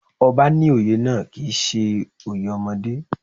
Ọba ní oyè náà kì í ṣe oyè ọmọdé